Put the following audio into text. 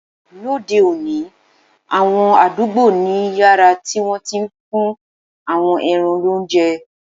Lóde òní, àwọn àdúgbò ní yàrá tí wọ́n ti ń fún àwọn ẹran lóúnjẹ